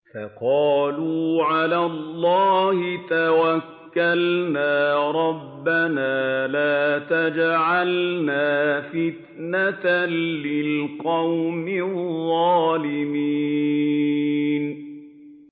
فَقَالُوا عَلَى اللَّهِ تَوَكَّلْنَا رَبَّنَا لَا تَجْعَلْنَا فِتْنَةً لِّلْقَوْمِ الظَّالِمِينَ